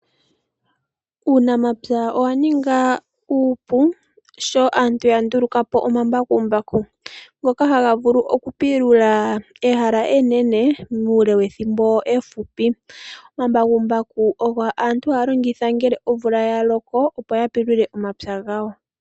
Uunamapya owa ninga uupu sho aantu ya ndulukapo omambakumbaku. Ngoka haga vulu oku pilula ehala enene muule wethimbo efupi. Omambakumbaku ogo aantu haya longitha ngele omvula yaloko opo ya pulule omapya gawo.